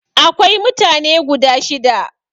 Akwai mutane guda shida.